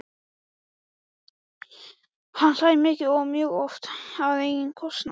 Hann hlær mikið og mjög oft á eigin kostnað.